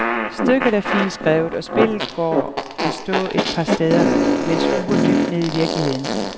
Stykket er fint skrevet og spillet, går i stå et par steder, men skuer dybt ned i virkeligheden.